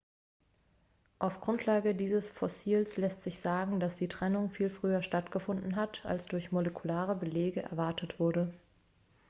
auf grundlage dieses fossils lässt sich sagen dass die trennung viel früher stattgefunden hat als durch molekulare belege erwartet wurde